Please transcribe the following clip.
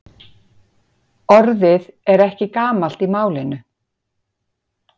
Orðið er ekki gamalt í málinu.